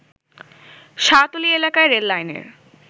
শাহতলী এলাকায় রেললাইনের